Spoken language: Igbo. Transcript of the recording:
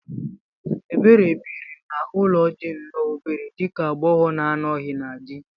Ebere biri n'ụlọ dị nnọọ obere dị ka agbogho na anoghi na di